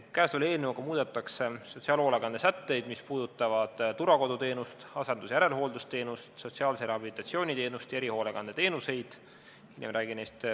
Käesoleva eelnõuga muudetakse sotsiaalhoolekande seaduse sätteid, mis puudutavad turvakoduteenust, asendus- ja järelhooldusteenust, sotsiaalse rehabilitatsiooni teenust ja erihoolekandeteenuseid.